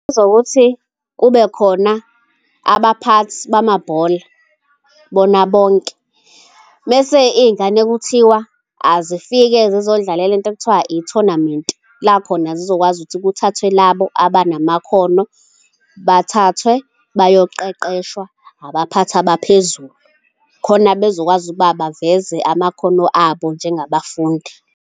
Ezokuthi kubekhona abaphathi bamabhola bona bonke mese iy'ngane kuthiwa azifike zizodlala lento ekuthiwa ithonamenti la khona zizokwazi ukuthi kuthathwe labo abanamakhono, bathathwe bayoqeqeshwa abaphathi abaphezulu khona bezokwazi ukuba baveze amakhono abo njengabafundi.